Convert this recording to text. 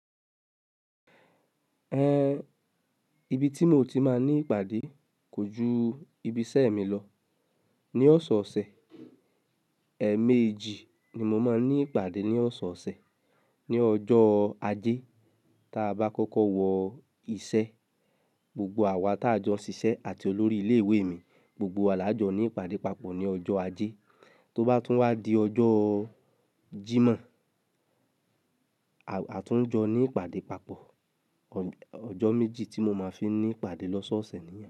Ibi tí mo ti máa ní ìpàdé kò ju ibi iṣẹ́ mi lọ. Ni ọ̀sẹ̀ ọ̀sẹ̀, ẹẹmeji ni mo máa ní ìpàdé ní ọ̀sẹ̀ ọ̀sẹ̀. Ni ọjọ́ ajé ta bá kọ́kọ́ wọ iṣẹ́, gbogbo àwa tá jọ ṣiṣẹ́ àti olórí ilé ìwé mi, gbogbo wa là jọ ní ìpàdé papọ̀ ní ọjọ́ ajé. Tó bá tún wá di ọjọ́ Jímọ̀, a, a tún jọ ní ìpàdé papọ̀. Ọ̀, ọjọ́ méjì tí mo máa fi ní ìpàdé lọ́sọ̀ọ̀sẹ̀ ni.